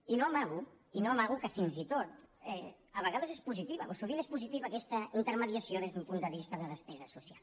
i no amago i no amago que fins i tot a vegades és po sitiva sovint és positiva aquesta intermediació des d’un punt de vista de despesa social